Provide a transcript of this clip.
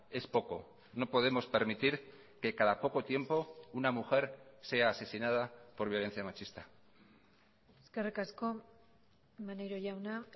es poco no podemos permitir que cada poco tiempo una mujer sea asesinada por violencia machista eskerrik asko maneiro jauna